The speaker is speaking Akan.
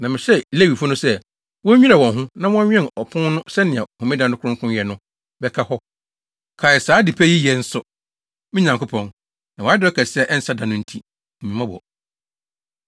Na mehyɛɛ Lewifo no sɛ, wonnwira wɔn ho, na wɔnnwɛn apon no sɛnea Homeda no kronkronyɛ no bɛka hɔ. Kae saa ade pa yi yɛ nso, me Nyankopɔn, na wʼadɔe kɛse a ɛnsa da no nti, hu me mmɔbɔ.